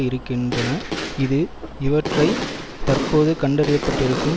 இருக்கின்றன இது இவற்றை தற்போது கண்டறியப்பட்டிருக்கும்